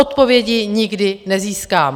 Odpovědi nikdy nezískám.